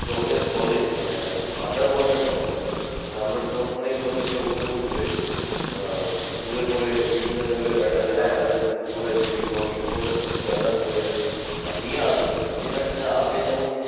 জলের তলে মানে আহ under water drone মানে আমরা drone মানেই ভাবি সে উপরে উঠবে আহ উড়ে পরে বিভিন্ন জায়গায় radar এর under এ করে বিভিন্ন informations gather করে নিয়ে আসবে। যেটা কি না আগে যেমন